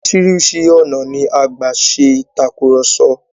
Oríṣìíríṣìí ọ̀nà ni a gbà ṣe ìtàkurọ̀sọ.